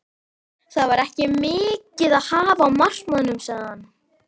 Það var ekki mikið að hafa á markaðnum sagði hann.